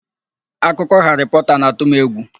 Akụkọ Haarị Pọta na-atụ m egwu.